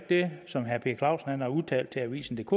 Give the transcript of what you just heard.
det som herre per clausen har udtalt til avisendk